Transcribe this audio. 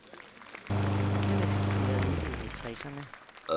Den eksisterede ikke i halvtredserne.